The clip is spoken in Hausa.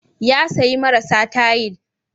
Ya sayi marasa tayil.